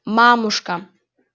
мамушка